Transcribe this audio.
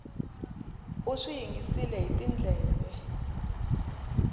u swi yingisile hi tindleve